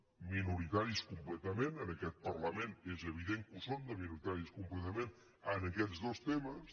minoritaris completament en aquest parlament és evident que ho són de minoritaris completament en aquests dos temes